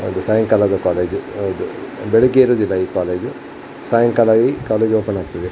ಅದು ಸಾಯಂಕಾಲದ ಕಾಲೇಜ್ ಹೌದು ಬೆಳಿಗ್ಗೆ ಇರುವುದಿಲ್ಲ ಈ ಕಾಲೇಜು ಸಾಯಂಕಾಲ ಈ ಕಾಲೇಜು ಓಪನ್ ಆಗ್ತದೆ --